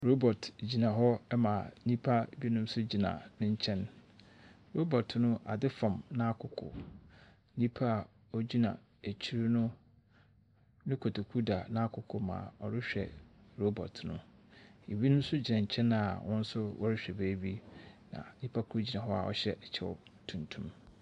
Robɔt gyina hɔ ma nnympa binom nso gyina ne nkyɛn. Robɔt no adze fam n'akoko. Nyipa a ogyina akyir no, ne kotoku da n'akoko ma ɔrehwɛ robɔt no. Obi nso gyina nkyɛn a wɔn nso wɔrehwɛ baabi. Nnyipa kor gyina hɔ a ɔhyɛ kyɛw tuntum.